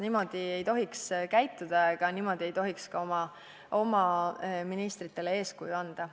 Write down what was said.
Niimoodi ei tohiks käituda ja niimoodi ei tohiks ka oma ministritele eeskuju anda.